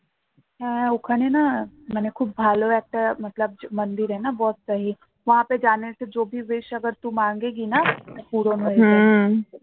হ্যাঁ ওখানে না মানে খুব ভালো একটা wish পূরণ হয়ে যায়